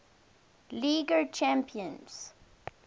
league era champions